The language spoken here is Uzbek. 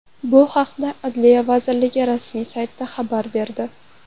Bu haqda Adliya vazirligi rasmiy sayti xabar berdi .